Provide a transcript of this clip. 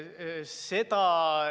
Jajaa.